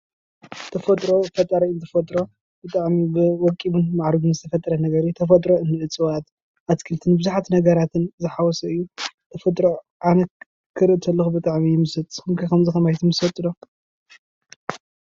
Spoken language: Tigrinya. ተፈጥሮ ፈጣሪ እዩ ዝፈጥሮ በቃ ወቂቡን ማዕሪጉን ዝተፈጠረ ነገር እዩ ተፈጥሮ ከም እፅዋት፣ ኣትክልትን ብዙሓት ነገራትን ዝሓወሰ እዩ ተፈጥሮ ኣነ ክሪኢ ከለኹ ብጣዕሚ እየ ዝምሰጥ ንስኹም ከ ከምዚ ኸማይ ትምሰጡ ዶ?